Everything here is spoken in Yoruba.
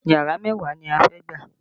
Yàrá mẹ́wàá ni a fẹ́ gbà